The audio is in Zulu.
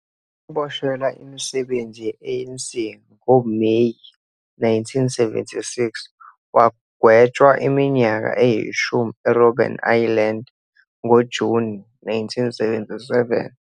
Waboshelwa imisebenzi ye-ANC ngoMeyi 1976 wagwetshwa iminyaka eyishumi eRobben Island ngoJuni 1977.